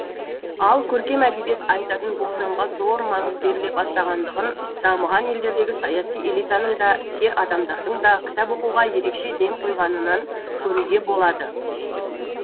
ал көркем әдебиет айтатын болжамға зор маңыз беріле бастағандығын дамыған елдердегі саяси элитаның да іскер адамдардың да кітап оқуға ерекше ден қойғанынан көруге болады